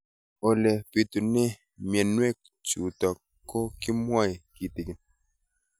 Ole pitune mionwek chutok ko kimwau kitig'�n